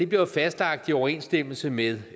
bliver jo fastlagt i overensstemmelse med